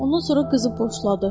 Ondan sonra qızı boşladı.